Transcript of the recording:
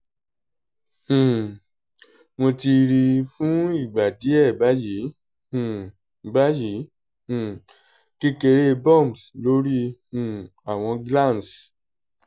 um mo ti ri fun igba diẹ bayi um bayi um kekere bumps lori um awọn glans